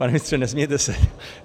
Pane ministře, nesmějte se!